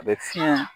A bɛ fiɲɛ